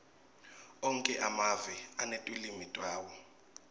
onkhe emave anetilwimi tawo